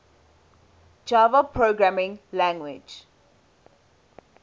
java programming language